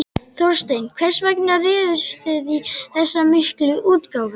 Þorsteinn, hvers vegna réðust þið í þessa miklu útgáfu?